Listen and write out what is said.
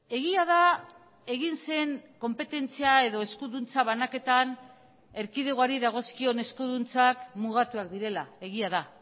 egia da egin zen konpetentzia edo eskuduntza banaketan erkidegoari dagozkion eskuduntzak mugatuak direla egia da